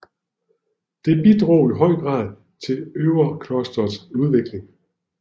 Det bidrog i høj grad til Övedklosters udvikling